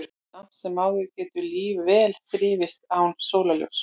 Samt sem áður getur líf vel þrifist án sólarljóss.